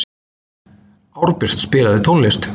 Árbjört, spilaðu tónlist.